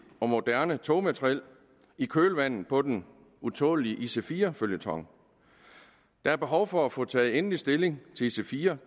og moderne togmateriel i kølvandet på den utålelige ic4 føljeton der er behov for at få taget endelig stilling til ic4